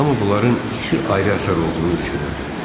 Hamu bunların iki ayrı əsər olduğunu düşünürdü.